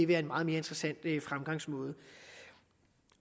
være en meget mere interessant fremgangsmåde